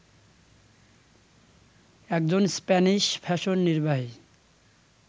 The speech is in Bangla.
একজন স্প্যানিশ ফ্যাশন নির্বাহী